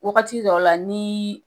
Wagati dɔw la ni